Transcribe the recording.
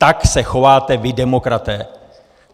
Tak se chováte vy demokraté!